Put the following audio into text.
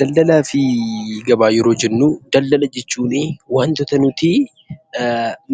Daldalaa fi gabaa yeroo jennu, daldala jechuuni waantota nutii